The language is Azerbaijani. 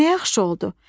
"Nə yaxşı oldu!